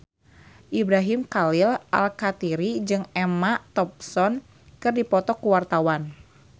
Ibrahim Khalil Alkatiri jeung Emma Thompson keur dipoto ku wartawan